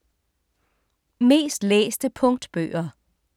Mest læste punktbøger